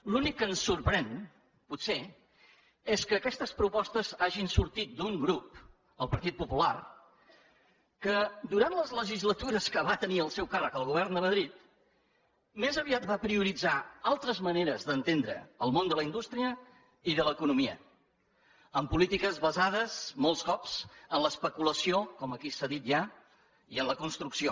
l’únic que ens sorprèn potser és que aquestes propostes hagin sortit d’un grup el partit popular que durant les legislatures que va tenir al seu càrrec el govern de madrid més aviat va prioritzar altres maneres d’entendre el món de la indústria i de l’economia amb polítiques basades molts cops en l’especulació com aquí s’ha dit ja i en la construcció